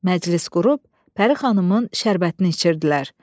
Məclis qurub Pərixanımın şərbətini içirdilər.